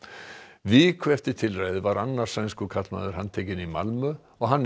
viku eftir tilræðið var annar sænskur karlmaður handtekinn í Malmö og hann er